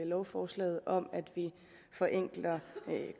lovforslaget forenkler vi